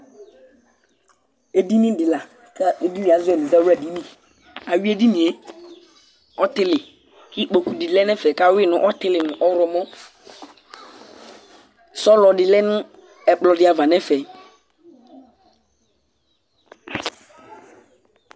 edini di la k'edini yɛ azɔ mo ɛzawla dini awi edini yɛ ɔtili k'ikpoku di lɛ n'ɛfɛ k'awi no ɔtili no ɔwlɔmɔ sɔlɔ di lɛ no ɛkplɔ di ava n'ɛfɛ